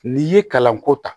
N'i ye kalanko ta